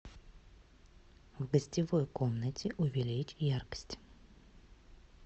в гостевой комнате увеличь яркость